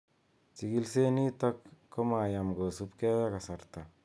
Chikileshet nitok ko mayam kosubgei ak kasarta